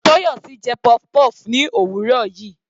Toyosi jẹ puff-puff ní òwúrọ̀ yìí.